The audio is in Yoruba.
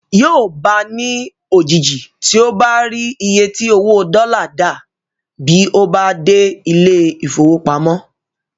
Yóò bá a ní òjijì tí ó bá rí iye tí owó dọ́là dà bí ó bá dé ilé ìfowópamọ́.